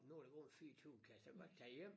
Nå der gået 24 kan jeg så godt tage hjem